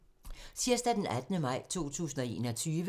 Tirsdag d. 18. maj 2021